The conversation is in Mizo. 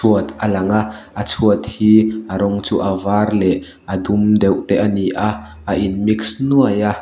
chhuat a lang a a chhuat hi a rawng chu a var leh a dum deuh te a ni a a in mix nuai a.